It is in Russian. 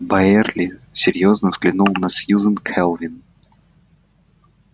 байерли серьёзно взглянул на сьюзен кэлвин